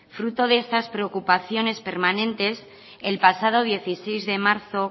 fruto de estas preocupaciones permanentes el pasado dieciséis de marzo